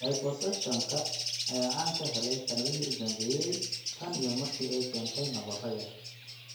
Liposuction-ka ayaa caan ka helay sannadihii u dambeeyay tan iyo markii ay keentay nabarro yar.